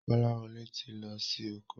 Kolawole tí lọ sì oko.